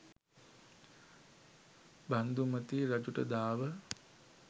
බන්ධුමති රජුට දාව